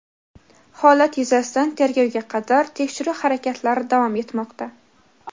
Holat yuzasidan tergovga qadar tekshiruv harakatlari davom etmoqda.